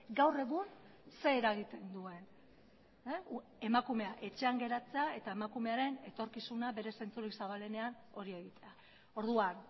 gaur egun zer eragiten duen emakumea etxean geratzea eta emakumearen etorkizuna bere zentzurik zabalenean hori egitea orduan